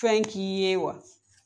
Fɛn k'i ye wa ?